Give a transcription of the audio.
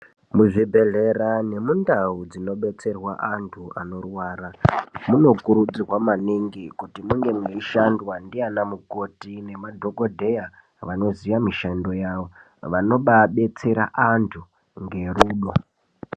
Muzvibhedhlera nemundau dzinodetserwa antu, anorwara munokurudzirwa maningi kuti munge meishandwa ndiana mukoti nemadhogodheya vanoziya mishando yawo, vanobaadetsera antu ngerudo.